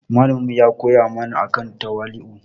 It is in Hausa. Malamin mu ya koya mana akan tawali'u.